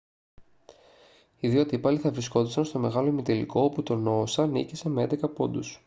οι δύο αντίπαλοι θα βρισκόντουσαν στον μεγάλο ημιτελικό όπου το noosa νίκησε με 11 πόντους